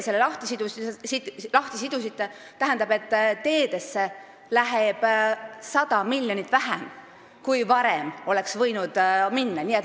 See, et te selle lahti sidusite, tähendab, et teedesse läheb 100 miljonit vähem, kui varem oleks võinud minna.